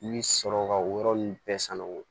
I bɛ sɔrɔ ka o yɔrɔ ninnu bɛɛ sanuya